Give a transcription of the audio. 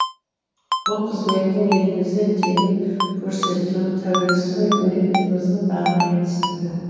бұл қызметтің елімізде тегін көрсетілуі тәуелсіз мемлекетіміздің тағы бір жетістігі